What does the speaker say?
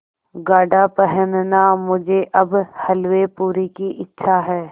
गाढ़ा पहनना मुझे अब हल्वेपूरी की इच्छा है